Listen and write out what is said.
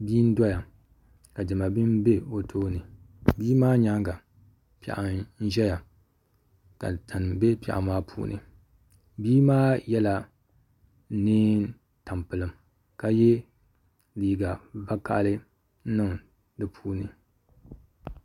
Bia n-doya ka diɛma bini be o tooni bia maa nyaaŋa piɛɣu n-ʒeya ka tani be piɛɣu maa puuni bia maa yela neem'tampilim ka ye liiga vakahili n-niŋ di puuni.